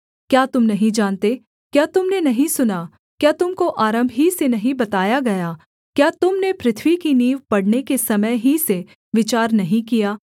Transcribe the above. क्या तुम नहीं जानते क्या तुम ने नहीं सुना क्या तुम को आरम्भ ही से नहीं बताया गया क्या तुम ने पृथ्वी की नींव पड़ने के समय ही से विचार नहीं किया